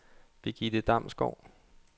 Birgitte Damsgaard